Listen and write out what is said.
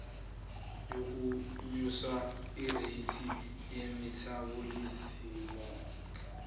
yokunyusa ireythi yemethabholizimu